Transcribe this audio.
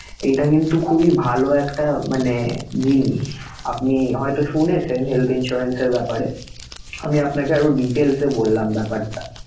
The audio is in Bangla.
এটা কিন্তু খুবই ভালো একটা মানে জিনিষআপনি হয়ত শুনেছেন health insurance এর ব্যাপারেআমি আপনাকে আরো details এ বললাম ব্যাপারটা